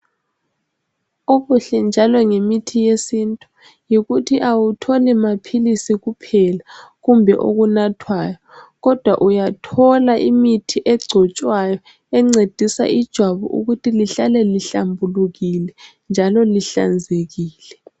Okuhle njalo ngemithi yesintu yikuthi awutholi maphilisi kuphela kumbe okunathwayo kodwa uyathola imithi egcotshwayo encedisa ijwabu ukuthi lihlale lihlambulukile njalo lihlanzekile.